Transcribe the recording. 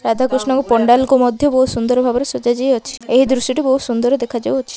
ରାଧାକୃଷ୍ଣଙ୍କ ପଣ୍ଡାଲ କୁ ମଧ୍ୟ ବୋହୁତ ସୁନ୍ଦର ଭାବରେ ସଜା ଯାଇଅଛି। ଏହି ଦୃଶ୍ୟ ଟି ବୋହୁତ ସୁନ୍ଦର ଦେଖା ଯାଉଅଛି।